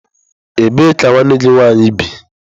Ebee ka nwanne gị nwaanyị bi?